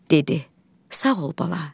Dedi: Sağ ol bala.